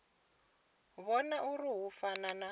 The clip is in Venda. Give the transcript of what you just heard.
vhona uri hu fana na